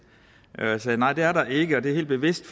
og jeg sagde nej det er der ikke og det er helt bevidst